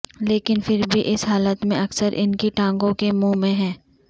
لیکن پھر بھی اس حالت میں اکثر ان کی ٹانگوں کے منہ میں ہیں